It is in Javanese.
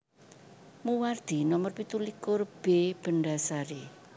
Muwardi Nomer pitulikur B Bendhasari